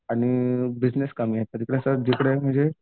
आणि बिजनेस कमी आहे जिकडे